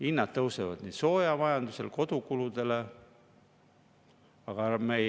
Hinnad tõusevad soojamajanduses, kodukulude.